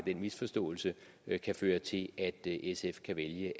misforståelse kan føre til at at sf kan vælge